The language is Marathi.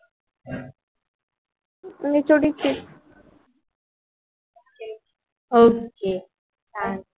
okay हा